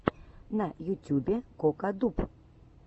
на ютюбе кокатуб